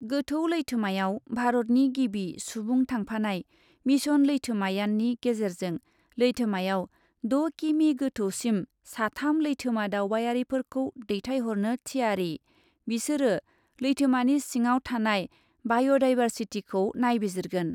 गोथौ लैथोमायाव भारतनि गिबि सुबुं थांफानाय मिशन लैथोमायाननि गेजेरजों लैथोमायाव द' किमि गौथौसिम साथाम लैथोमा दावबायारिफोरखौ दैथायहरनो थियारि, बिसोरो लैथोमानि सिंआव थानाय बाय'डाइभार्सिटिखौ नायबिजिरगोन ।